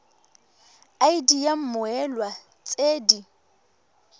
id ya mmoelwa tse di